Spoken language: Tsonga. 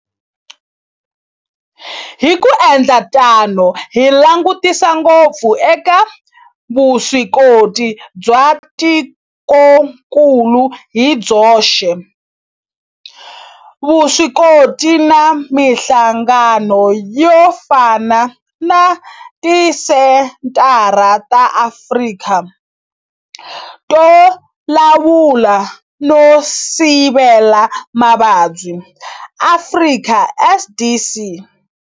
Hi ku endla tano hi langutisa ngopfu eka vuswikoti bya tikokulu hi byoxe, vuswikoti na mihlangano yo fana na Tisenthara ta Afrika to Lawula no Sivela Mavabyi, Afrika CDC.